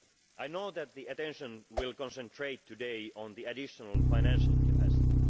I know that attention will be concentrated today on the additional financial capacity.